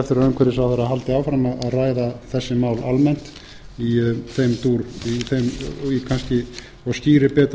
að umhverfisráðherra haldi áfram að ræða þessi mál almennt í þeim dúr og skýri betur